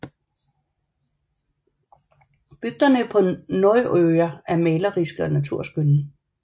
Bygderne på Norðoyar er maleriske og naturskønne